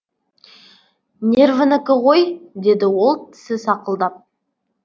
нервінікі ғой деді ол тісі сақылдап